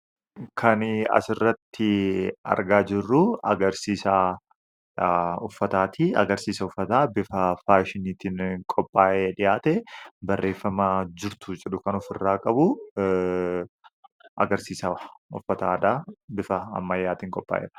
Kan asirratti argaa jirru agarsiisa uffataati. Agarsiisa uffataa bifa faashinii ta'een kan qophaa'ee dhiyaate barreeffama jirtuu jedhu ofirraa kan qabudha.